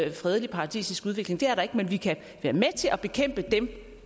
en fredelig paradisisk udvikling det er der ikke men vi kan være med til at bekæmpe dem